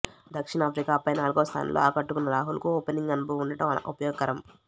దక్షిణాఫ్రికాపై నాలుగో స్థానంలో ఆకట్టుకున్న రాహుల్కు ఓపెనింగ్ అనుభవం ఉండడం ఉపయోగకరం